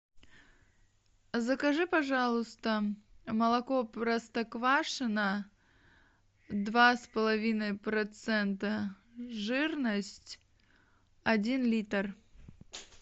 закажи пожалуйста молоко простоквашино два с половиной процента жирность один литр